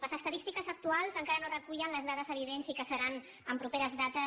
les estadístiques actuals encara no recullen les dades evidents i que seran en properes dates